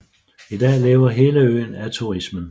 I dag lever hele øen af turismen